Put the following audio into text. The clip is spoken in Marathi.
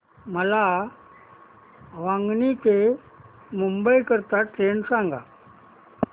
मला वांगणी ते मुंबई करीता ट्रेन सांगा